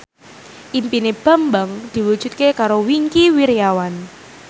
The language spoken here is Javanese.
impine Bambang diwujudke karo Wingky Wiryawan